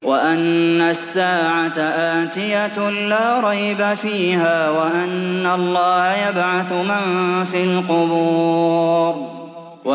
وَأَنَّ السَّاعَةَ آتِيَةٌ لَّا رَيْبَ فِيهَا وَأَنَّ اللَّهَ يَبْعَثُ مَن فِي الْقُبُورِ